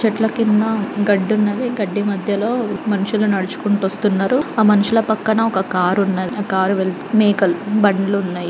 చెట్ల కింద గడ్డి ఉన్నది.గడ్డి మధ్య లో మనుషుల నడుచుకుంటూ వస్తున్నారు. మనుషుల పక్కన కార్ వెళుతున్నది. ఆ కార్ వెళ్తునది. బండ్లు ఉన్నాయి.